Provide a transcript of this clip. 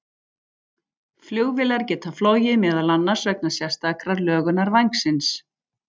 Flugvélar geta flogið meðal annars vegna sérstakrar lögunar vængsins.